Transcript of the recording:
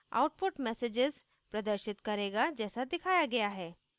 output messages प्रदर्शित करेगा जैसे दिखाया गया है